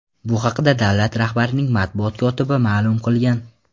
Bu haqda davlat rahbarining matbuot kotibi ma’lum qilgan.